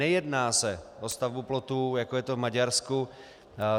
Nejedná se o stavbu plotu, jako je to v Maďarsku.